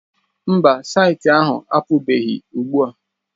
Mba, saịtị ahụ apụbeghị ugbua.